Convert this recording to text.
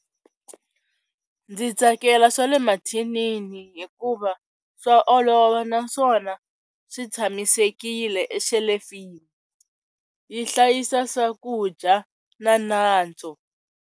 Ndzi tsakela swa le mathinini hikuva swa olova naswona swi tshamisekile exelefini yi hlayisa swakudya na nantswo.